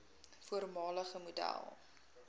voormalige model